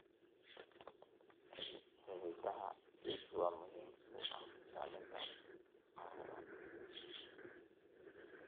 Xididada geedku waa muhiim u ah ilaalinta carrada.